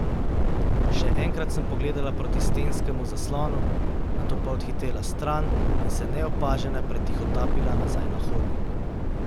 Še enkrat sem pogledala proti stenskemu zaslonu, nato pa odhitela stran in se neopažena pretihotapila nazaj na hodnik.